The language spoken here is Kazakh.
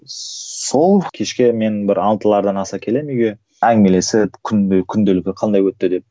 сол кешке мен бір алтылардан аса келемін үйге әңгімелесіп күнде күнделігі қандай өтті деп